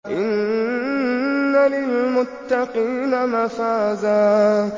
إِنَّ لِلْمُتَّقِينَ مَفَازًا